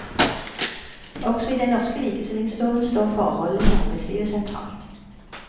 Også i den norske likestillingsloven står forholdene i arbeidslivet sentralt.